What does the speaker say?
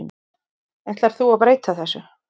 Ætlar þú að breyta þessu?